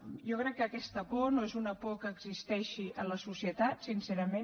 jo crec que aquesta por no és una por que existeixi en la societat sincerament